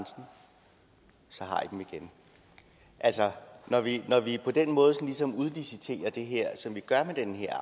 så har i dem igen altså når vi på den måde ligesom udliciterer det her som vi gør med den her